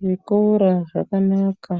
Zvikora zvakanaka.